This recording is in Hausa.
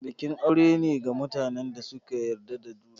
Bikin aure ne ga mutanen da suka yarda da juna.